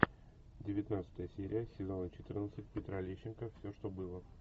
девятнадцатая серия сезона четырнадцать петра лещенко все что было